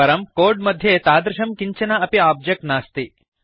परं कोड् मध्ये तादृशं किञ्चन अपि आब्जेक्ट् नास्ति